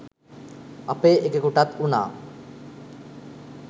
අපේ එකෙකුටත් උනා